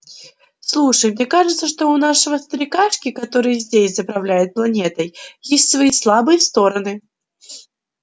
слушай мне кажется что у нашего старикашки который здесь заправляет планетой есть свои слабые стороны